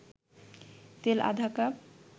তেল আধা কাপ